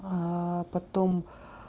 а потом